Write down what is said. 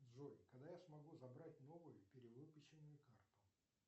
джой когда я смогу забрать новую перевыпущенную карту